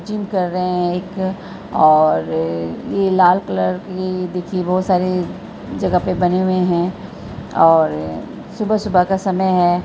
Gym कर रहे हैं एक और ये लाल कलर ये देखिये बहुत सारे जगह पर बने हुए हैं और सुबह-सुबह का समय है।